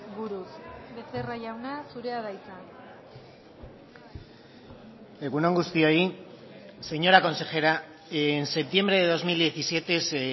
buruz becerra jauna zurea da hitza egun on guztioi señora consejera en septiembre de dos mil diecisiete se